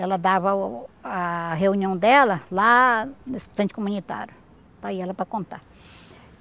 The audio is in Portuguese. Ela dava a reunião dela lá no Instituto Comunitário, para ir ela para contar.